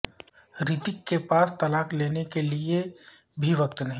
رتیک کے پاس طلاق لینے کے لیے بھی وقت نہیں